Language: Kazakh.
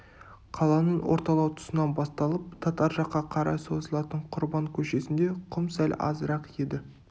қаланың орталау тұсынан басталып татар жаққа қарай созылатын құрбан көшесінде құм сәл азырақ еді